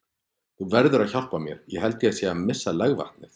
Þú verður að hjálpa mér, ég held ég sé að missa legvatnið.